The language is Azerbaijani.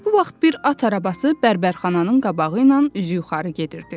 Bu vaxt bir at arabası bərbərxananın qabağı ilə üzü yuxarı gedirdi.